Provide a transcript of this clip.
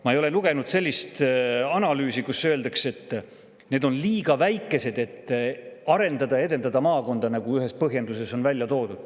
Ma ei ole lugenud sellist analüüsi, kus öeldakse, et need on liiga väikesed, et arendada ja edendada maakonda, nagu ühes põhjenduses on välja toodud.